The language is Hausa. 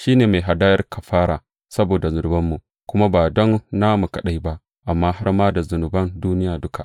Shi ne hadayar kafara saboda zunubanmu, kuma ba don namu kaɗai ba amma har ma da zunuban duniya duka.